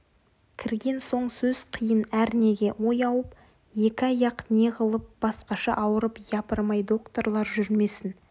кірген соң сөз қиын әрнеге ой ауып екі ай-ақ не қылып басқаша ауырып япырмай докторлар жүрмесін